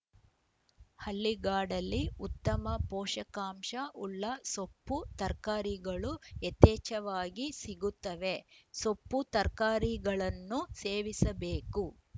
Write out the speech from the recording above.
ಹಳ್ಳಿಗಾಡಲ್ಲಿ ಉತ್ತಮ ಪೋಷಕಾಂಶ ಉಳ್ಳ ಸೊಪ್ಪು ತರ್ಕಾರಿ ಗಳು ಯಥೇಚ್ಚವಾಗಿ ಸಿಗುತ್ತವೆ ಸೊಪ್ಪು ತರ್ಕಾರಿ ಗಳನ್ನು ಸೇವಿಸಬೇಕು